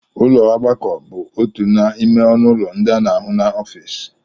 Ụlọ ogbakọ bụ otu n'ime ọnụ ụlọ ndị a na-ahụ n'ọfịs